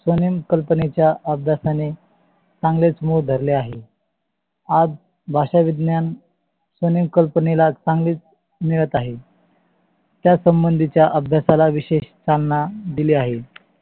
स्कवनेम ल्पनेच्या अधाय्ताने चांगेच मुळ धरले आहे. आज भाषा, विज्ञान म्हणून कल्पनेला चांगलेच मिळत आहे. त्या संबंधी च्या अभ्य्साला विषेश चालना दिली आहे.